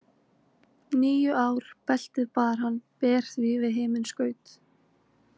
Níu ár beltið bar hann ber því við himinskaut.